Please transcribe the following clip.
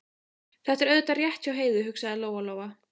Þetta er auðvitað rétt hjá Heiðu, hugsaði Lóa Lóa.